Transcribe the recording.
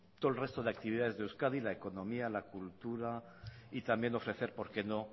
todo el resto de actividades de euskadi la economía la cultura y también ofrecer por qué no